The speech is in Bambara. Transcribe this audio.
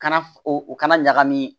Kana o kana ɲagami